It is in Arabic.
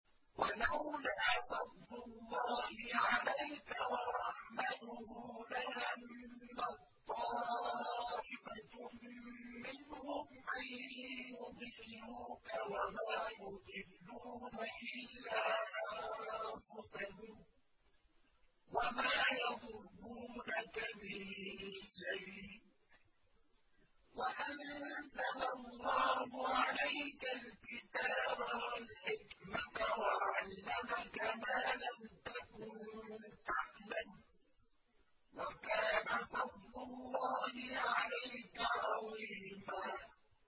وَلَوْلَا فَضْلُ اللَّهِ عَلَيْكَ وَرَحْمَتُهُ لَهَمَّت طَّائِفَةٌ مِّنْهُمْ أَن يُضِلُّوكَ وَمَا يُضِلُّونَ إِلَّا أَنفُسَهُمْ ۖ وَمَا يَضُرُّونَكَ مِن شَيْءٍ ۚ وَأَنزَلَ اللَّهُ عَلَيْكَ الْكِتَابَ وَالْحِكْمَةَ وَعَلَّمَكَ مَا لَمْ تَكُن تَعْلَمُ ۚ وَكَانَ فَضْلُ اللَّهِ عَلَيْكَ عَظِيمًا